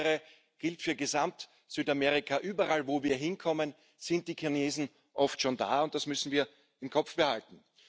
Insbesondere gilt für Gesamt Südamerika Überall, wo wir hinkommen, sind die Chinesen oft schon da, und das müssen wir im Kopf behalten.